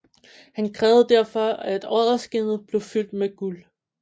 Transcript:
Han krævede derfor at odderskindet blev fyldt med guld